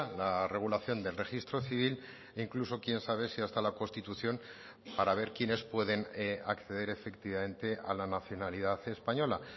la regulación del registro civil incluso quién sabe si hasta la constitución para ver quiénes pueden acceder efectivamente a la nacionalidad española